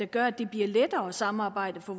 gør at det bliver lettere at samarbejde for